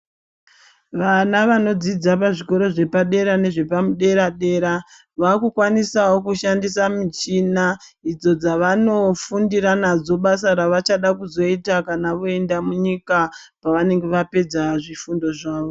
Vana vanodzidza pazvikora zvepadera nezvepadera dera vakukwanisawo kushandisa muchina idzo dzavanofundira nadzo basa ravachada kuzoita kana voenda munyika pavanenge vapedza zvifundo zvavo.